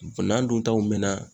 N'an dun taw mɛna